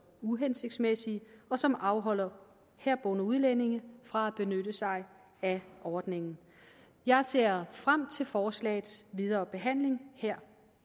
uhensigtsmæssige og som afholder herboende udlændinge fra at benytte sig af ordningen jeg ser frem til forslagets videre behandling her